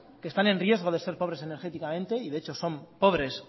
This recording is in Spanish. que están en riesgo de ser pobres energéticamente y de hecho o son pobres